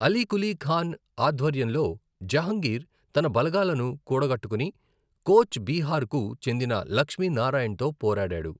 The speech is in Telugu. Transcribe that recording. అలీ కులీ ఖాన్ ఆధ్వర్యంలో జహంగీర్ తన బలగాలను కూడగట్టుకుని, కోచ్ బీహార్కు చెందిన లక్ష్మీ నారాయణ్తో పోరాడాడు.